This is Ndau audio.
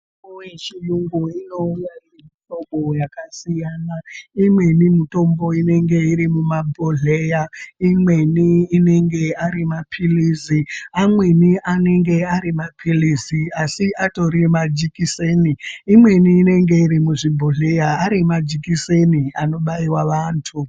Mitombo yechiyungu inouya nemihlobo yakasiyana. Imweni mutombo inenge iri mumabhodhleya, imweni inenge ari maphilizi, amweni anenge ari maphilizi asi atori majikiseni. Imweni inenge iri muzvibhodhleya ari majikiseni anobaiwa vantu.